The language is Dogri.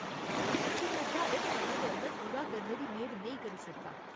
में इ'नेंगी निर्धारत समें दे अंदर पूरा करने दी मेद नेईं करी सकदा।